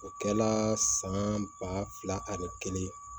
O kɛla san ba fila ani kelen